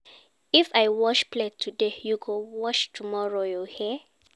If I wash plate today, you go wash tomorrow, you hear?